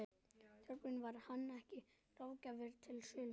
Þorbjörn: Var hann ekki ráðgjafi við söluna?